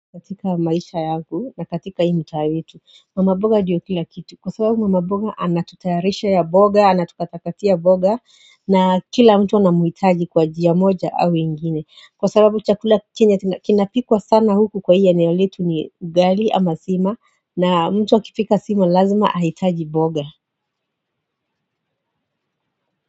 Katika maisha yangu na katika hii mtaa yetu mama mboga ndio kila kitu kwa sababu mama mboga anatutayarishia mboga anatukatakati mboga na kila mtu anamuhitaji kwa njia moja au nyingine kwa sababu chakula chenye kinapikwa sana huku kwa hii eneoletu ni ugali ama sima na mtu akipika sima lazima ahitaji mboga.